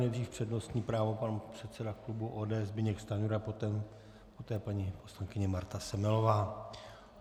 Nejdřív přednostní právo pan předseda klubu ODS Zbyněk Stanjura, poté paní poslankyně Marta Semelová.